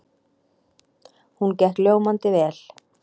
Hún gekk ljómandi vel.